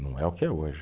Não é o que é hoje.